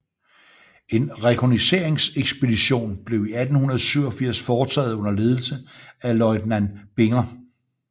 En rekognosceringsekspedition blev i 1887 foretaget under ledelse af løjtnant Binger